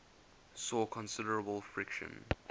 saw considerable friction